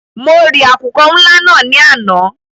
Mọ rì àkùkọ́ ńlá náà ní àná.